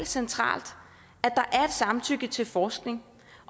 centralt at samtykke til forskning